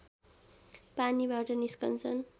पानीबाट निस्कन्छन्